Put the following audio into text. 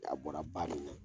A bɔra ba min na